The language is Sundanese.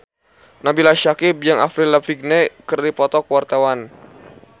Nabila Syakieb jeung Avril Lavigne keur dipoto ku wartawan